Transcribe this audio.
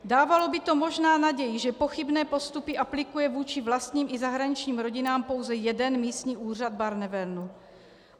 Dávalo by to možná naději, že pochybné postupy aplikuje vůči vlastním i zahraničním rodinám pouze jeden místní úřad Barnevernu.